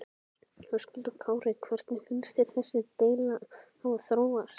Höskuldur Kári: Hvernig finnst þér þessi deila hafa þróast?